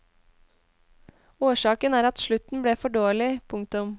Årsaken er at slutten ble for dårlig. punktum